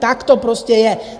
Tak to prostě je.